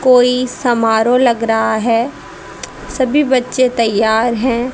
कोई समारोह लग रहा है सभी बच्चे तैयार हैं।